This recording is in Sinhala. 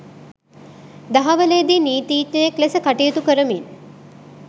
දහවලේදී නීතීඥයෙක් ලෙස කටයුතු කරමින්